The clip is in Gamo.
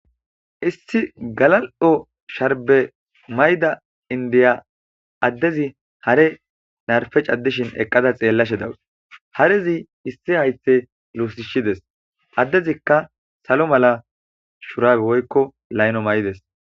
issi galal7o sharbe mayida indiya addezi hare narfe caddishin eqqada xeellashe dawus harezi issi haythe luusishides addezikka salo mala shuraabe woykko layno may'ides.